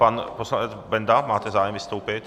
Pan poslanec Benda, máte zájem vystoupit?